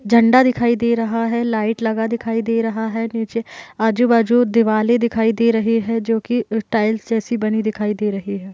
झंडा दिखाई दे रहा है। लाइट लगा दिखाई दे रहा है। नीचे आजू बाजू दिवालें दिखाई दे रही हैं जोकि ई टाइल्स जैसी बनी दिखाई दे रही है।